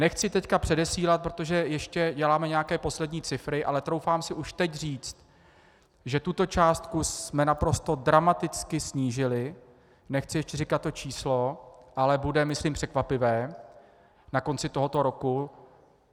Nechci teď předesílat, protože ještě děláme nějaké poslední cifry, ale troufám si už teď říct, že tuto částku jsme naprosto dramaticky snížili, nechci ještě říkat to číslo, ale bude myslím překvapivé, na konci tohoto roku.